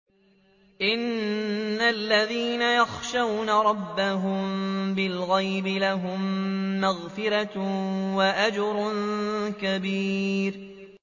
إِنَّ الَّذِينَ يَخْشَوْنَ رَبَّهُم بِالْغَيْبِ لَهُم مَّغْفِرَةٌ وَأَجْرٌ كَبِيرٌ